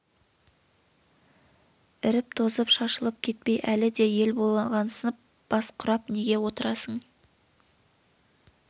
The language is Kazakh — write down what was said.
іріп тозып шашылып кетпей әлі де ел болғансып бас құрап неге отырасың